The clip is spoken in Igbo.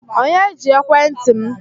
Onye ji ekwentị m?